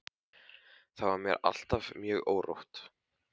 Þá var mér alltaf mjög órótt.